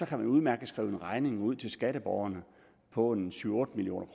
kan man udmærket skrive en regning ud til skatteborgerne på syv otte million